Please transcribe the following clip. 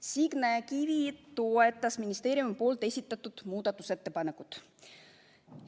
Signe Kivi toetas ministeeriumi esitatud muudatusettepanekut.